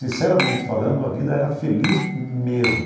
Sinceramente falando, a vida era feliz mesmo.